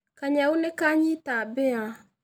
Kanyau nĩkanyita mbĩya